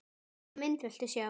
Hvaða mynd viltu sjá?